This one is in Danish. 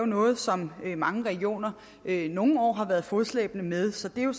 noget som mange regioner nogle år har været fodslæbende med så det er jo